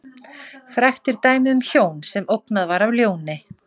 Frægt er dæmið um hjón sem ógnað var af ljóni.